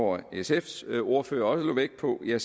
var sfs ordfører der lagde vægt på det